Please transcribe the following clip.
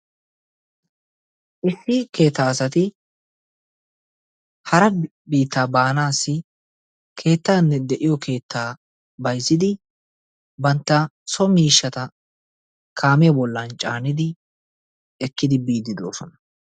Issi keettaa asati hara biitta baanaassi keettaanne de"iyo keettaa bayizzidi bantta so miishshata kaamiya bollan caanidi ekkidi biiddi doosona.